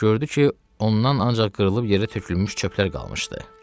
Gördü ki, ondan ancaq qırılıb yerə tökülmüş çöplər qalmışdı.